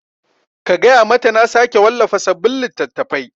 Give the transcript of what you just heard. Ka gaya mata na sake wallafa sabin littattafai